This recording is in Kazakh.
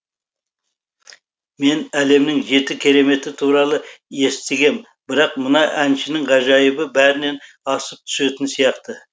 мен әлемнің жеті кереметі туралы естігем бірақ мына әншінің ғажайыбы бәрінен асып түсетін сияқты